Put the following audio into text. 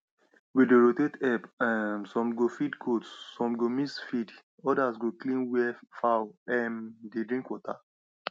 we dey rotate help um some go feed goat some go mix feed others go clean where fowl um dey drink water